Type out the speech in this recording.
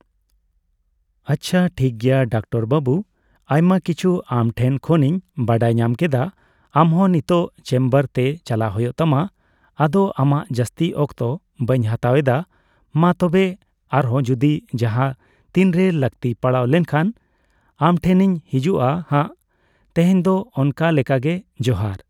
ᱟᱪᱪᱷᱟ ᱴᱷᱤᱠᱜᱮᱭᱟ ᱰᱚᱠᱴᱚᱨ ᱵᱟᱹᱵᱩ ᱟᱭᱢᱟ ᱠᱤᱪᱷᱩ ᱟᱢᱴᱷᱮᱱ ᱠᱷᱚᱱᱤᱧ ᱵᱟᱰᱟᱭᱧᱟᱢ ᱠᱮᱫᱟ ᱟᱢᱦᱚᱸ ᱱᱤᱛᱚᱜ ᱪᱮᱢᱵᱟᱨ ᱛᱮ ᱪᱟᱞᱟᱜ ᱦᱳᱭᱳᱜ ᱛᱟᱢᱟ ᱟᱫᱚ ᱟᱢᱟᱜ ᱡᱟᱹᱥᱛᱤ ᱚᱠᱛᱚ ᱵᱟᱹᱧ ᱦᱟᱛᱟᱣ ᱮᱫᱟ ᱢᱟ ᱛᱚᱵᱮ ᱟᱨᱦᱚ ᱡᱚᱫᱤ ᱡᱟᱦᱟᱸ ᱛᱤᱱᱨᱮ ᱞᱟᱹᱠᱛᱤ ᱯᱟᱲᱟᱣ ᱞᱮᱱᱠᱷᱟᱱ ᱟᱢᱴᱷᱮᱱᱤᱧ ᱦᱤᱡᱩᱜᱼᱟ ᱦᱟᱸᱜ ᱛᱮᱦᱮᱧ ᱫᱚ ᱚᱱᱠᱟ ᱞᱮᱠᱟᱜᱮ ᱡᱚᱦᱟᱨ ᱾